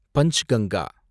Panchganga